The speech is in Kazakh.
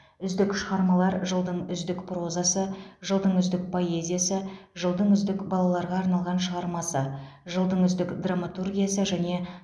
үздік шығармалар жылдың үздік прозасы жылдың үздік поэзиясы жылдың үздік балаларға арналған шығармасы жылдың үздік драматургиясы және